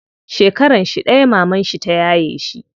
Shekaranshi ɗaya mamanshi ta yaye shi.